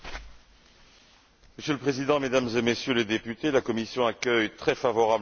Monsieur le Président, Mesdames et Messieurs les députés, la Commission accueille très favorablement ce rapport.